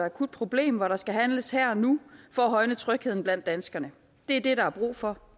og akut problem hvor der skal handles her og nu for at højne trygheden blandt danskerne det er det der er brug for